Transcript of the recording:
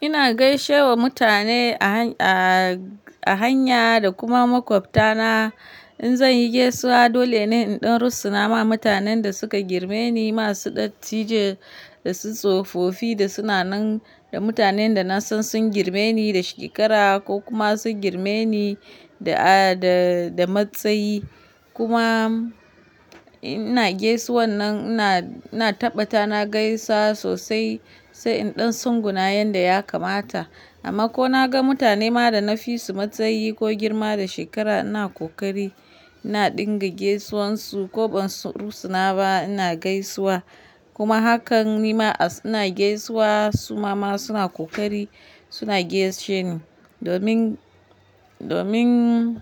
Ina gaishe wa mutane a hanya da kuma makwabtana. In zan yi gaisuwa dole ne in ɗan rusuna ma mutanen da suka girme ni masu dattijai da su tsofofi da suna nan da mutanen da na san sun girme ni da shekara ko kuma sun girme ni da matsayi. Kuma ina gaisuwa nan ina taɓa ta na gaisa sosai sai in ɗan tsunguna yanda ya kamata. Amma ko na ga mutane ma da na fi su matsayi ko girma da shekara ina ƙoƙari ina ɗinga gaisuwan su ko ban rusuna ba ina gaisuwa. Kuma hakan nima ina gaisuwa su ma suna ƙoƙari suna gaishe ni. Domin